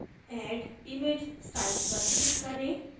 add image styles पर click करें